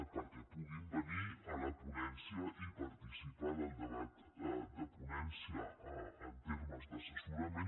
perquè puguin venir a la ponència i participar en el debat de ponència en termes d’assessorament